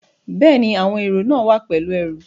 Bẹ́ẹ̀ni, àwọn èrò náà wá pẹ̀lú ẹrù